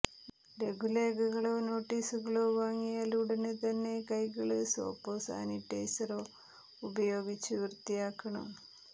ലഘുലേഖകളോ നോട്ടീസുകളോ വാങ്ങിയാല് ഉടന് തന്നെ കൈകള് സോപ്പോ സാനിറ്റൈസറോ ഉപയോഗിച്ച് വൃത്തിയാക്കണം